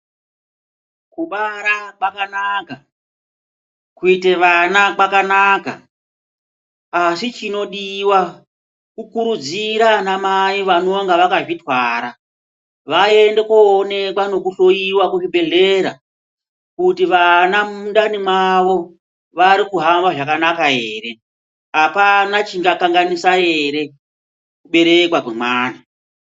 Kubara kwakanaka, kuite vana kwakanaka asi chinodiwa kukurudzira anamai vanenge vakazvitwara vaende koonekwa nekuhloyiwa kuzvibhedhleya kuti vana mundani mwavo vari kuhamba zvakanaka ere apana chingakanganisa ere kuberekwa kwemwana.